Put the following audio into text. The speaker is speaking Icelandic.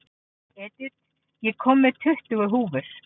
Edith, ég kom með tuttugu húfur!